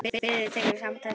Fríða tekur í sama streng.